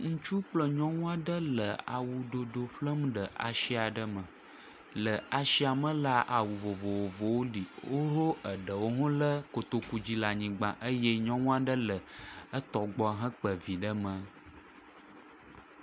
Ŋutsu kple nyɔnu aɖe le awdodo ƒlem le ashi aɖe me. Le ashia me la, awu vovovowo li. Wo, wo eɖewo hã ɖe kotoku dzi le anyigba. Eye nyɔnu aɖe le etɔgbɔ hekpa vi ɖe mɛ.